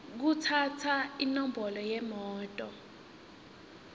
kutsatsa inombolo yemoto